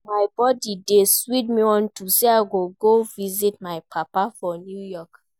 My body dey sweet me unto say I go go visit my papa for New York